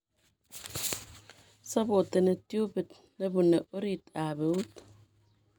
Sappoteni tiubit nebune orit ab euut